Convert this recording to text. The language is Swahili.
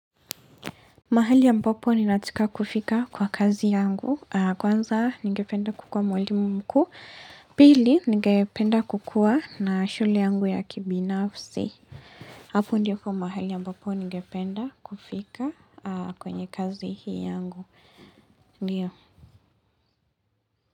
Mahali ambapo ninatika kufika kwa kazi yangu, kwanza ningependa kukua mwalimu mkuu, pili ningependa kukua na shule yangu ya kibinafsi. Hapo ndipo mahali ambapo ningependa kufika kwenye kazi hii yangu, ndio.